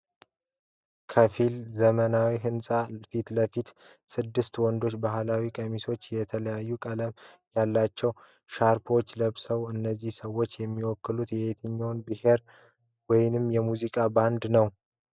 ከፊል ዘመናዊ ሕንጻ ፊት ለፊት፣ ስድስት ወንዶች ባህላዊ ቀሚሶችንና የተለያየ ቀለም ያላቸው ሻርፖችን ለብሰዋል። እነዚህ ሰዎች የሚወክሉት የትኛውን ብሔር ወይም የሙዚቃ ቡድን ነው?